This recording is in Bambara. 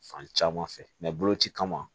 Fan caman fɛ boloci kama